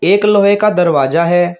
एक लोहे का दरवाजा है।